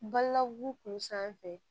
Bala wugu kun sanfɛ